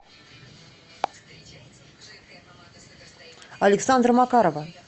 александра макарова